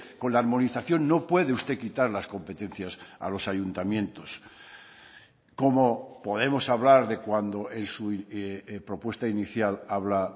con la armonización no puede usted quitar las competencias a los ayuntamientos como podemos hablar de cuando en su propuesta inicial habla